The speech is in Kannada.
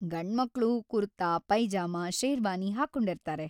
ಗಂಡ್ಮಕ್ಳು ಕುರ್ತಾ, ಪೈಜಾಮ, ಶೇರ್ವಾನಿ ಹಾಕೊಂಡಿರ್ತಾರೆ.